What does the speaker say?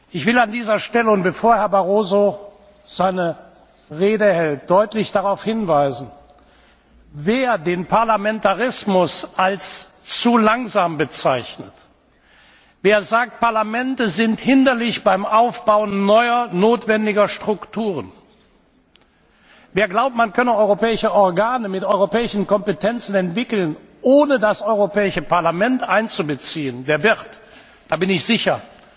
Ich will an dieser Stelle und bevor Herr Barroso seine Rede hält, deutlich darauf hinweisen Wer den Parlamentarismus als zu langsam bezeichnet, wer sagt, Parlamente sind hinderlich beim Aufbau neuer notwendiger Strukturen, wer glaubt, man könne europäische Organe mit europäischen Kompetenzen entwickeln, ohne das Europäische Parlament einzubeziehen, der wird da bin ich sicher